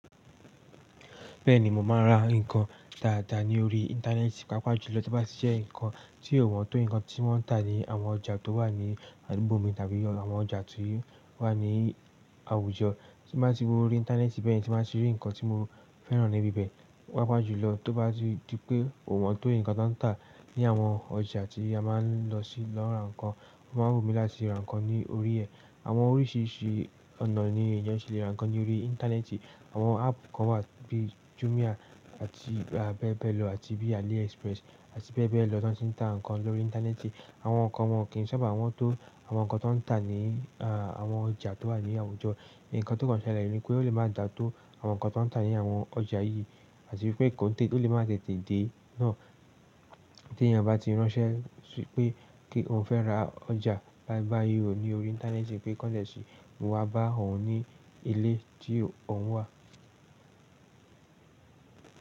Bẹ́ẹ̀ni, mò máa ń ra ǹkan dáadáa ní orí Íńtánẹ́ẹ̀tì, pàápàá jùlọ tí ó bá ti jẹ́ ǹkan tí ò wọ́n tó ǹkan tí wọ́n ń tà ní àwọn ọjà tó wà ní àdúgbò mi tàbí àwọn ọjà tí o wà ní àwùjọ. Tí n ba ti wo orí Íńtánẹ́ẹ̀tì bẹ́yen, tí n ba ti rí ǹkan tí mo fẹ́ràn ní ibi ibẹ̀, pàápàá jùlọ tí ó bá ti di pé ò wọ́n tó ǹkan ti won tà ní àwọn ọjà tí a máa ń lọ sí lọ ra ǹkan, ò máa wù mí láti ra ǹkan ní orí ẹ. Àwọn oríṣìíríṣìí ọ̀nà ni èèyàn si lè ra ǹkan ní orí Íńtánẹ́ẹ̀tì, àwọn áàpù kan wà bíi Jumia àti bẹ́ẹ̀ bẹ́ẹ̀ lọ àti bíi AliExpress àti bẹ́ẹ̀ bẹ́ẹ̀ lọ ti won ti ń tà ǹkan lórí Íńtánẹ́ẹ̀tì. Àwọn kan wọ́n kì n sáabà won tó àwọn ǹkan ti woń tà ní àwọn ọjà tó wà ní àwùjọ, ǹkan tó kàn ṣẹlẹ̀ nípé ó lè má dà tó àwọn ǹkan ti won tà ní àwọn ọjà yìí, àti pé ò lè má tètè dé náà tí èèyàn bá ti ránṣẹ́ wípé kí òun fẹ́ ra ọjà báyìí báyìí ò, ní orí Íńtánẹ́ẹ̀tì pé kọ́n de ṣí wá bá òun ní ilé tí òun wà.